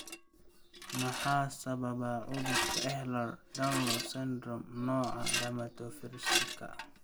Maxaa sababa cudurka Ehlers Danlos syndrome, nooca dermatosparaxiska?